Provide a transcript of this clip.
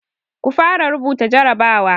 Ku fara rubuta jarabawa!